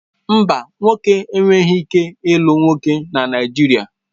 Mba, nwoke enweghị ike ịlụ nwoke na Naijiria